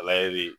de